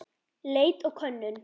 Leit og könnun